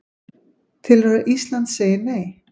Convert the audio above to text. Telur að Ísland segi Nei